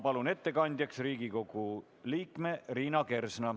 Palun ettekandjaks Riigikogu liikme Liina Kersna!